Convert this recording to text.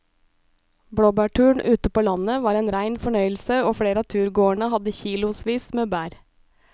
Blåbærturen ute på landet var en rein fornøyelse og flere av turgåerene hadde kilosvis med bær.